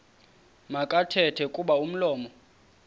makathethe kuba umlomo